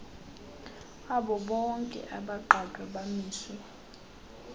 abobonke abagqatswa abamiswe